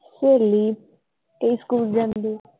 ਸਹੇਲੀ ਤੇ ਸਕੂਲ ਜਾਂਦੀ।